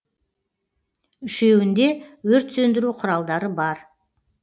үшеуінде өрт сөндіру құралдары бар